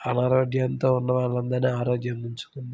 అనారోగ్యం తో ఉన్న వాళ్ళ అందరు ఆరోగ్యం ఉంచుతుంది.